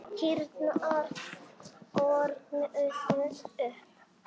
Kýrnar þornuðu upp.